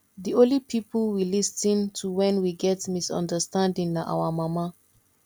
the only people we lis ten to wen we get misunderstanding na our mama